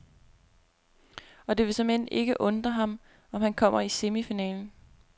Og det vil såmænd ikke undre ham, om han kommer i semifinalen.